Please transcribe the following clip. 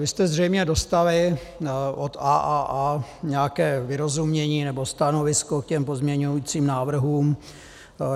Vy jste zřejmě dostali od AAA nějaké vyrozumění nebo stanovisko k těm pozměňujícím návrhům.